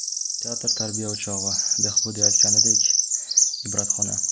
Teatr tarbiya o‘chog‘i, Behbudiy aytganidek, ibratxona.